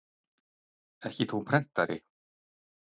Ekki þó prentari?